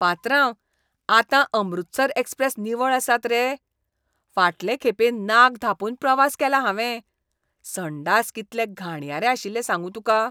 पात्रांव, आतां अमृतसर एक्सप्रेस निवळ आसात रे? फाटलें खेपें नाक धांपून प्रवास केलां हांवें, संडास कितले घाणयारे आशिल्लें सांगू तुका.